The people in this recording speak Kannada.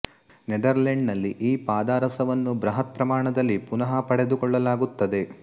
ನೆದರ್ಲೆಂಡ್ ನಲ್ಲಿ ಈ ಪಾದರಸವನ್ನು ಬೃಹತ್ ಪ್ರಮಾಣದಲ್ಲಿ ಪುನಃ ಪಡೆದುಕೊಳ್ಳಲಾಗುತ್ತದೆ